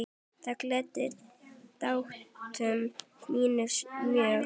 Það gladdi dætur mínar mjög.